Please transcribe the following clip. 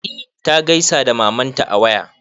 E ta gaisa da mamanta a waya.